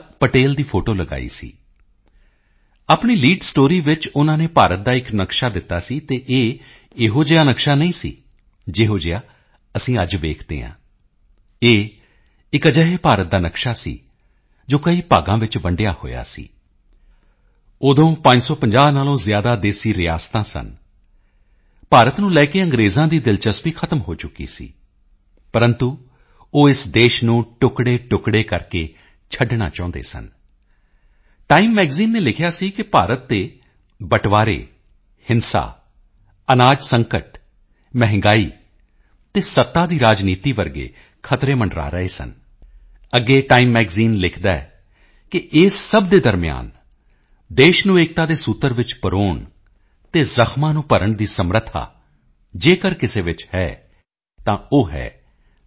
ਪਟੇਲ ਦੀ ਫੋਟੋ ਲਗਾਈ ਸੀ ਆਪਣੀ ਲੀਡ ਸਟੋਰੀ ਵਿੱਚ ਉਨ੍ਹਾਂ ਨੇ ਭਾਰਤ ਦਾ ਇੱਕ ਨਕਸ਼ਾ ਦਿੱਤਾ ਸੀ ਅਤੇ ਇਹ ਇਹੋ ਜਿਹਾ ਨਕਸ਼ਾ ਨਹੀਂ ਸੀ ਜਿਹੋ ਜਿਹਾ ਅਸੀਂ ਅੱਜ ਵੇਖਦੇ ਹਾਂ ਇਹ ਇੱਕ ਅਜਿਹੇ ਭਾਰਤ ਦਾ ਨਕਸ਼ਾ ਸੀ ਜੋ ਕਈ ਭਾਗਾਂ ਵਿੱਚ ਵੰਡਿਆ ਹੋਇਆ ਸੀ ਉਦੋਂ 550 ਨਾਲੋਂ ਜ਼ਿਆਦਾ ਦੇਸੀ ਰਿਆਸਤਾਂ ਸਨ ਭਾਰਤ ਨੂੰ ਲੈਕੇ ਅੰਗਰੇਜ਼ਾਂ ਦੀ ਦਿਲਚਸਪੀ ਖ਼ਤਮ ਹੋ ਚੁੱਕੀ ਸੀ ਪ੍ਰੰਤੂ ਉਹ ਇਸ ਦੇਸ਼ ਨੂੰ ਟੁਕੜੇਟੁਕੜੇ ਕਰਕੇ ਛੱਡਣਾ ਚਾਹੁੰਦੇ ਸਨ ਟਾਈਮ ਮੈਗਜ਼ੀਨ ਨੇ ਲਿਖਿਆ ਸੀ ਕਿ ਭਾਰਤ ਤੇ ਬਟਵਾਰੇ ਹਿੰਸਾ ਅਨਾਜ ਸੰਕਟ ਮਹਿੰਗਾਈ ਅਤੇ ਸੱਤਾ ਦੀ ਰਾਜਨੀਤੀ ਵਰਗੇ ਖ਼ਤਰੇ ਮੰਡਰਾ ਰਹੇ ਸਨ ਅੱਗੇ ਟਾਈਮ ਮੈਗਜ਼ੀਨ ਲਿਖਦਾ ਹੈ ਕਿ ਇਸ ਸਭ ਦੇ ਦਰਮਿਆਨ ਦੇਸ਼ ਨੂੰ ਏਕਤਾ ਦੇ ਸੂਤਰ ਵਿੱਚ ਪਰੋਣ ਅਤੇ ਜ਼ਖ਼ਮਾਂ ਨੂੰ ਭਰਨ ਦੀ ਸਮਰੱਥਾ ਜੇਕਰ ਕਿਸੇ ਵਿੱਚ ਹੈ ਤਾਂ ਉਹ ਹੈ ਸ